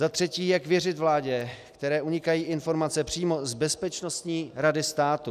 Za třetí, jak věřit vládě, které unikají informace přímo z Bezpečnostní rady státu.